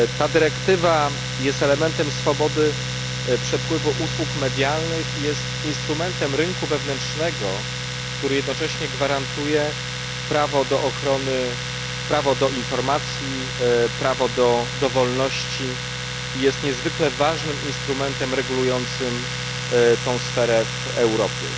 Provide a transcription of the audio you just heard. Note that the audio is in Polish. Dyrektywa ta jest elementem swobody przepływu usług medialnych i instrumentem rynku wewnętrznego, który jednocześnie gwarantuje prawo do ochrony, prawo do informacji, prawo do wolności, i jest niezwykle ważnym instrumentem regulującym tę sferę w Europie.